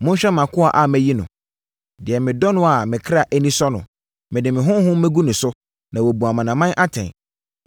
“Monhwɛ mʼakoa a mayi no, deɛ medɔ no a me kra ani sɔ no, mede me honhom mɛgu no so, na wabu amanaman atɛn.